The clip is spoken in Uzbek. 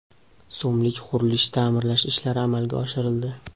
so‘mlik qurilish-ta’mirlash ishlari amalga oshirildi.